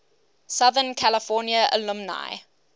southern california alumni